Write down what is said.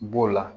B'o la